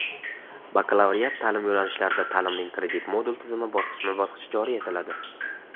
bakalavriat ta’lim yo‘nalishlarida ta’limning kredit-modul tizimi bosqichma-bosqich joriy etiladi.